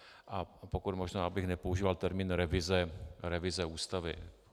A pokud možno bych nepoužíval termín revize Ústavy.